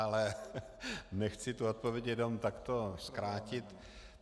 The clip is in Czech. Ale nechci tu odpověď jenom takto zkrátit.